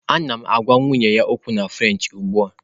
Ana m agwa nwunye ya okwu na French ugbu a